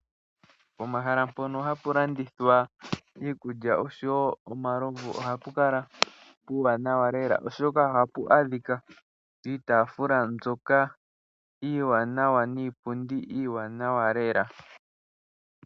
Pomahala mpono ha pu landithwa iikulya, osho woo omalovu, oha pu kala puuwanawa lela, oshoka oha pu adhika; iitaafula niipundi iiwanawa lela.